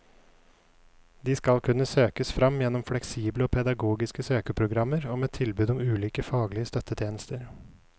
De skal kunne søkes fram gjennom fleksible og pedagogiske søkeprogrammer og med tilbud om ulike faglige støttetjenester.